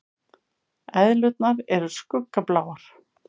Eðlurnar eru skuggabláar.